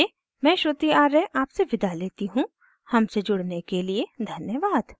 iit iit T Bombay से मैं श्रुति आर्य आपसे विदा लेती हूँ हमसे जुड़ने के लिए धन्यवाद